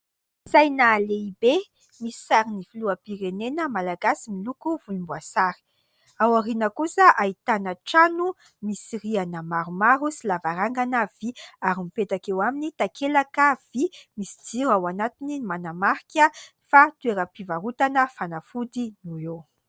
Saina lehibe misy sarin'ny filoham-pirenena malagasy miloko volomboasary. Aoriana kosa ahitana trano misy rihana maromaro sy lavarangana vý ary mipetaka eo aminy takelaka vy, misy jiro ao anatiny manamarika fa toeram-pivarotana fanafody no eo.